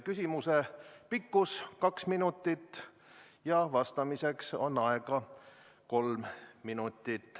Küsimuse pikkus on kaks minutit ja vastamiseks on aega kolm minutit.